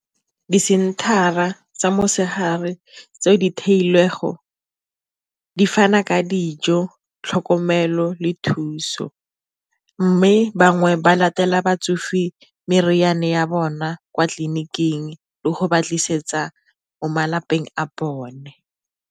Disenthara tsa motshegare tseo di theilwego di fana ka dijo, tlhokomelo le thuso. Mme bangwe ba latela batsofe di meriana ya bona kwa tleliniking le go ba tlisetsa mo malapeng a bone.